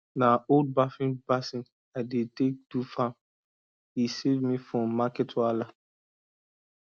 na old bathing basin i dey take do farm e save me from market wahala